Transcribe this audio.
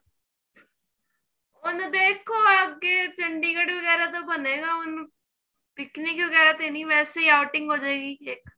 ਹੁਣ ਦੇਖੋ ਅੱਗੇ chandigarh ਵਗੈਰਾ ਦਾ ਬਣੇ ਗਾ ਹੁਣ picnic ਵਗੈਰਾ ਤੇ ਨੀਂ ਵੈਸੇ outing ਹੋ ਜੇਗੀ ਇੱਕ